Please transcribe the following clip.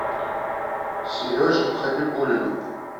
сереже хабибуллину